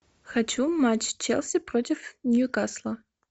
хочу матч челси против ньюкасла